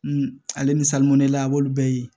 ale ni salunɛla a b'olu bɛɛ ye